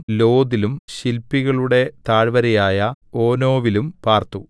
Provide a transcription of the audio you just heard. ലോദിലും ശില്പികളുടെ താഴ്വരയായ ഓനോവിലും പാർത്തു